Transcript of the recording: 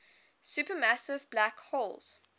supermassive black holes